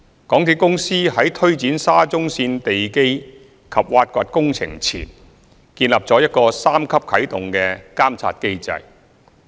港鐵公司在推展沙中線地基及挖掘工程前，建立了一個三級啟動的監察機制。